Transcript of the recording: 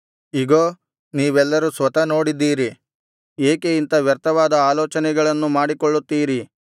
ಇಗೋ ನೀವೆಲ್ಲರು ಸ್ವತಃ ನೋಡಿದ್ದೀರಿ ಏಕೆ ಇಂಥ ವ್ಯರ್ಥವಾದ ಆಲೋಚನೆಗಳನ್ನು ಮಾಡಿಕೊಳ್ಳುತ್ತೀರಿ